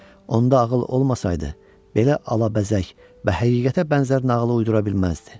Onda ağıl olmasaydı, belə alabəzək və həqiqətə bənzər nağılı uydura bilməzdi.